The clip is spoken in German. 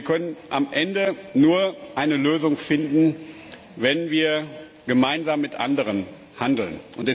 Wir können am Ende nur eine Lösung finden, wenn wir gemeinsam mit anderen handeln.